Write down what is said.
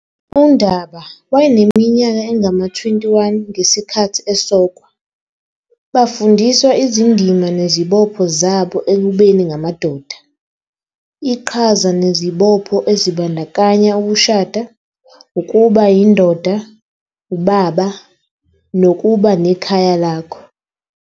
UNdaba wayeneminyaka engama-21 ngesikhathi esokwa. Bafundiswa izindima nezibopho zabo ekubeni ngamadoda. Iqhaza nezibopho ezibandakanya ukushada, ukuba yindoda, ubaba, nokuba nekhaya lakho.